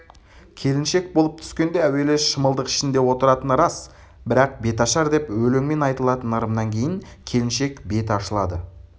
келіншек болып түскенде әуелі шымылдық ішінде отыратыны рас бірақ беташар деп өлеңмен айтылатын ырымынан кейін келіншек беті ашылды